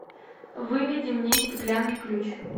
выведи мне стеклянный ключ